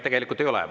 Tegelikult ei ole.